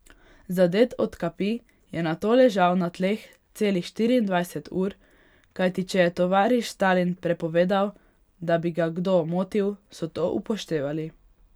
Zadet od kapi je nato ležal na tleh celih štiriindvajset ur, kajti če je tovariš Stalin prepovedal, da bi ga kdo motil, so to upoštevali.